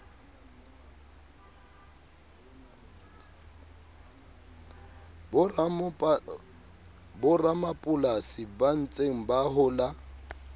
boramapolasi ba ntseng ba hola